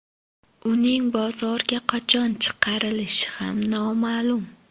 Uning bozorga qachon chiqarilishi ham noma’lum.